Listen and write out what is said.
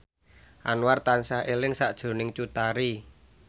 Anwar tansah eling sakjroning Cut Tari